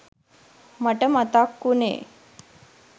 මට මතක් වුනේ